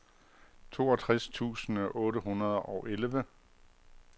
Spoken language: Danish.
toogtres tusind otte hundrede og elleve